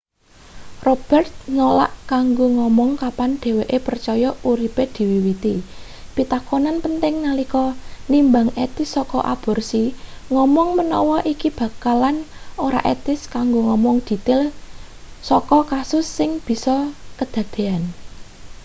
roberts nolak kanggo ngomong kapan dheweke percaya uripe diwiwiti pitakonan penting nalika nimbang etis saka aborsi ngomong menawa iki bakalan ora etis kanggo ngomong detail saka kasus sing bisa kedadean